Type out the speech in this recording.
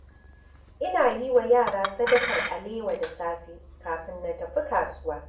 Ina yi wa yara sadakar alewa da safe kafin na tafi kasuwa.